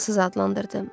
Axılsız adlandırdım.